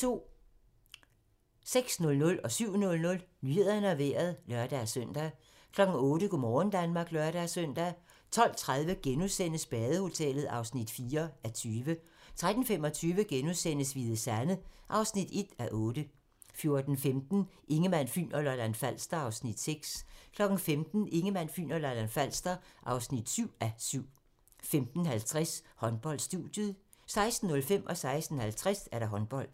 06:00: Nyhederne og Vejret (lør-søn) 07:00: Nyhederne og Vejret (lør-søn) 08:00: Go' morgen Danmark (lør-søn) 12:30: Badehotellet (4:20)* 13:25: Hvide Sande (1:8)* 14:15: Ingemann, Fyn og Lolland-Falster (6:7) 15:00: Ingemann, Fyn og Lolland-Falster (7:7) 15:50: Håndbold: Studiet 16:05: Håndbold 16:50: Håndbold